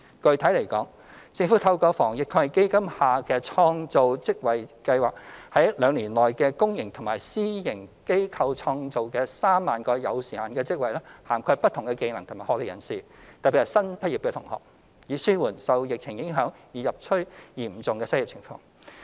具體來說，政府透過防疫抗疫基金下的創造職位計劃，在兩年內於公營及私營機構創造約3萬個有時限的職位，涵蓋不同技能及學歷人士，特別是新畢業同學，以紓緩受疫情影響而日趨嚴峻的失業情況。